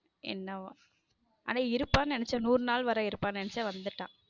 என்னவோ ஆனா இருப்பா நெனச்சேன் நுறு நாள் வரை இருப்பானு நினைச்சேன் ஆனா வந்துட்டா.